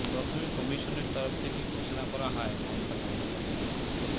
প্রথমে কমিশনের তরফ থেকে ঘোষণা করা হয় মমতা বন্দ্যোপাধ্যায়